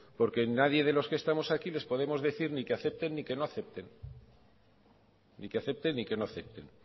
porque nadie de los que estamos aquí les podemos decir ni que acepten ni que no acepten ni que acepten ni que no acepten